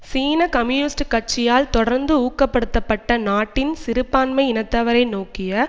சீன கம்யூனிஸ்ட் கட்சியால் தொடர்ந்து ஊக்கப்படுத்தப்பட்ட நாட்டின் சிறுபான்மை இனத்தவரை நோக்கிய